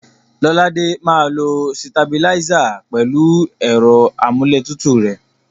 Lọ́ládé máa lo sitabiláísà pẹ̀lú ẹ̀rọ amúlétutù rẹ̀.